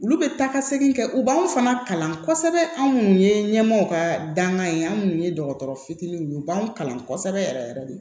Olu bɛ taa ka segin kɛ u b'an fana kalan kosɛbɛ anw minnu ye ɲɛmɔgɔ ka dankan ye anw minnu ye dɔgɔtɔrɔ fitininw ye u b'an kalan kosɛbɛ yɛrɛ yɛrɛ de